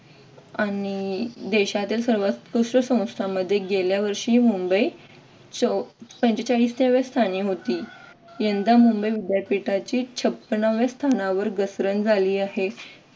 देशातील सर्वात्कृष्ट सेवांमध्ये गेल्या वर्षी मुंबई पंचेचाळीस व्या स्थानी होती. यंदा मुंबई विद्यापीठाची छप्पनाव्या स्थानावर घसरण झाली आहे.